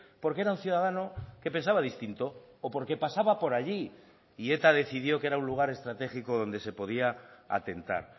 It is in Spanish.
porque era un ciudadano que pensaba distinto o porque pasaba por allí y eta decidió que era un lugar estratégico donde se podía atentar